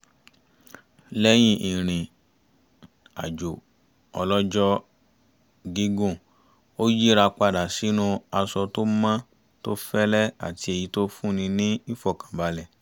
lẹ́yìn ìrìn-àjò ọlọ́jọ́-gígùn ó yíra padà sínú aṣọ tó mọ́ tó fẹ́lẹ́ àti èyí tó fún ni ní ìfọ̀kànbalẹ̀